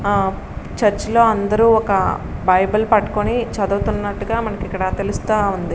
ఆ చర్చ్ లో అందరూ ఒక బైబిల్ పట్టుకుని చదువుతా ఉన్నట్టుగా మనకి ఇక్కడ తెలుస్తుంది.